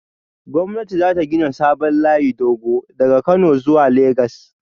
Gwamnati za ta gina sabon layin dogo daga Kano zuwa Legas